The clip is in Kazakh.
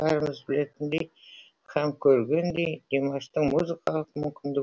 бәріміз білетіндей һәм көргендей димаштың музыкалық мүмкіндігі